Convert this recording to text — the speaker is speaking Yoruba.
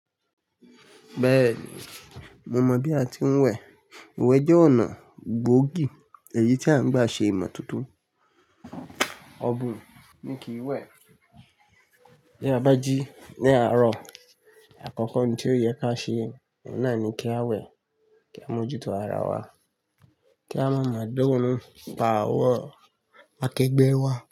Bẹ́ẹ̀ni, mo mọ̀ bí a ti ń wẹ̀. Iwẹ̀ jẹ́ ọ̀nà gbóògì èyí tí a ń gbà ṣe ìmọ̀ toto. Ọ̀bùn ni kì í wẹ̀. Bí a bá jí ní àárọ̀, àkọ́kọ́ ohun tí ó yẹ ká ṣe, oun naà ní kí á wẹ̀ kí á mójú tó ara wa, kí á má máa dá ọ̀run pa àwọ̀n akẹgbẹ́ wa.